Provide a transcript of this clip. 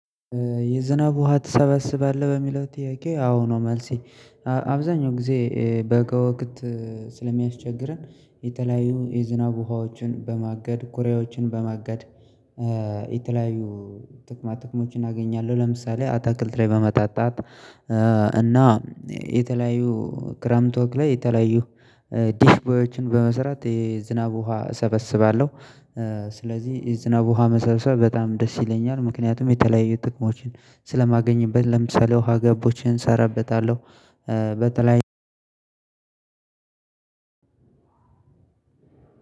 የዝናብ ውሃ ትሰበስባለህ በሚለው ጥያቄ አዎ ነው? መልሴ አብዛኛው ጊዜ በጋ ወቅት ስለሚያስቸግረን። የተለያዩ የዝናብ ውሃዎችን በማገድ ኮሪያዎችን በማገድ የተለያዩ ጥቅማ ጥቅሞችን አገኛለሁ። ለምሳሌ አታክል ላይ በማጣጣት እና የተለያዩ ክረምት ወግ ላይ የተለያዩ ዲሽ ቦዮችን በመሰራት የዝናብ ውሃ እሰበስባለሁ። ስለዚህ ዝናብ ውሃ መሰብሰብ በጣም ደስ ይለኛል። ምክንያቱም የተለያየ ጥቅሞችን ስለማገኝበት ለምሳሌ ውሃ ገቦችን እሰራበታለሁ። በተለይ